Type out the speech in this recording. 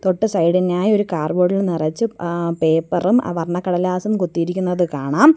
തൊട്ട് സൈഡ് ഇനായി ഒരു കാർബോഡ് ഇൽ നിറച്ചും അ പേപ്പറും അ വർണ്ണ കടലാസും കൊത്തിയിരികുന്നതും കാണാം.